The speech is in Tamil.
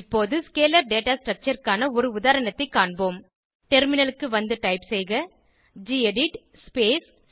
இப்போது ஸ்கேலர் டேட்டா ஸ்ட்ரக்சர் க்கான ஒரு உதாரணத்தைக் காண்போம் டெர்மினலுக்கு வந்து டைப் செய்க கெடிட்